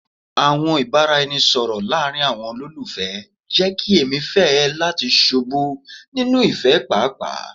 Awọn ibaraẹnisọrọ laarin awọn ololufẹ jẹ ki emi fẹ lati ṣubu ni ifẹ paapaa